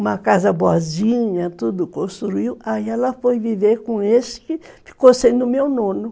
uma casa boazinha, tudo construiu, aí ela foi viver com esse que ficou sendo o meu nono.